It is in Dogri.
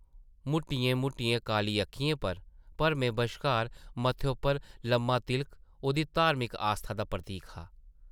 मुट्टियें-मुट्टियें काली अक्खियें पर भरमें बश्कार मत्थे उप्पर लम्मा तिलक ओह्दी धार्मिक आस्था दा प्रतीक हा ।